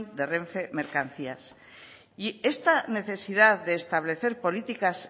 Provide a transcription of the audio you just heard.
de renfe mercancías y esta necesidad de establecer políticas